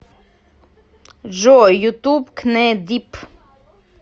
джой ютуб кнэ дип